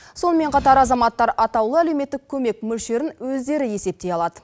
сонымен қатар азаматтар атаулы әлеуметтік көмек мөлшерін өздері есептей алады